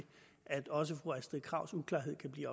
at også fru astrid krags uklarhed kan blive